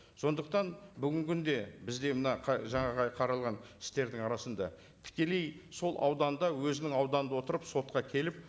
сондықтан бүгінгі күнде бізде мына жаңағы қаралған істердің арасында тікелей сол ауданда өзінің ауданда отырып сотқа келіп